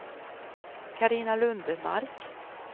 Carina Lundmark